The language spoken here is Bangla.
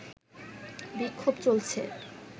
বিক্ষোভ চলছে